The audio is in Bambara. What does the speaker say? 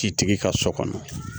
Citigi ka so kɔnɔ